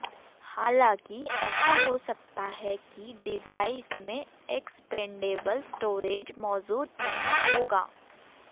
हालांकि ऐसा हो सकता है कि डिवाइस में एक्सपेंडेबल स्टोरेज मौजूद नहीं होगा